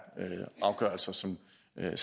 at